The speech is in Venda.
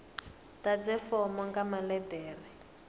ḓadze fomo nga maḽe ḓere